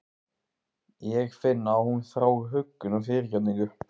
Ég finn að hún þráir huggun og fyrirgefningu.